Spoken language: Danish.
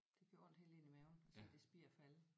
Det gjorde ondt helt ind i maven at se det spir falde